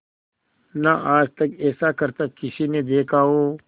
ना आज तक ऐसा करतब किसी ने देखा हो